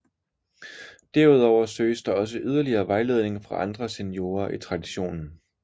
Derudover søges der også yderligere vejledning fra andre seniorer i traditionen